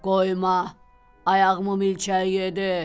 Qoyma, ayağımı milçək yedi.